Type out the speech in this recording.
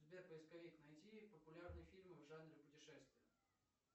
сбер поисковик найти популярные фильмы в жанре путешествия